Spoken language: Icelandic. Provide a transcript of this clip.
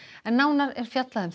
en nánar er fjallað um